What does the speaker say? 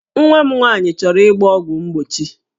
Nwa m nwaanyị chọrọ ịgba ọgwụ mgbochi